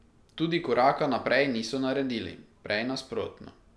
Tudi koraka naprej niso naredili, prej nasprotno.